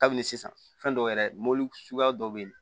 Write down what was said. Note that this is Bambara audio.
Kabini sisan fɛn dɔw yɛrɛ mɔbili suguya dɔw be yen